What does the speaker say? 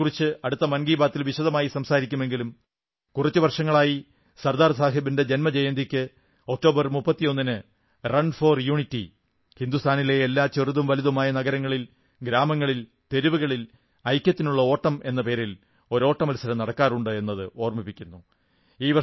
അതെക്കുറിച്ച് അടുത്ത മൻകീ ബാതിൽ വിശദമായി സംസാരിക്കുമെങ്കിലും കുറച്ചു വർഷങ്ങളായി സർദാർ സാഹബിന്റെ ജന്മജയന്തിക്ക് ഒക്ടോബർ 31 ന് റൺ ഫോർ യൂണിറ്റി ഹിന്ദുസ്ഥാനിലെ എല്ലാ ചെറുതും വലുതുമായ നഗരങ്ങളിൽ ഗ്രാമങ്ങളിൽ തെരുവുകളിൽ ഐക്യത്തിനുള്ള ഓട്ടം എന്ന പേരിൽ ഒരോട്ട മത്സരം നടക്കാറുണ്ട് എന്നത് ഓർമ്മിക്കുന്നു